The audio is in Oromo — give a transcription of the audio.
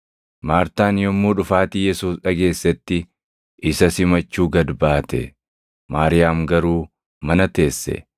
Maartaan yommuu dhufaatii Yesuus dhageessetti isa simachuu gad baate; Maariyaam garuu mana teesse.